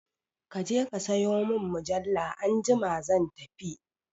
Kaje ka sayo mun mujalla anjima zan tafi